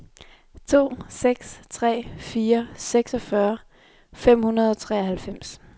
to seks tre fire seksogfyrre fem hundrede og treoghalvfems